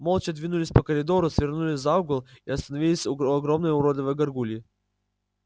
молча двинулись по коридору свернули за угол и остановились у огромной уродливой гаргульи